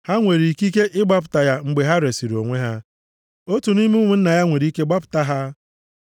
ha nwere ikike ịgbapụta ya mgbe ha resiri onwe ha. Otu nʼime ụmụnna ya nwere ike gbapụta ha.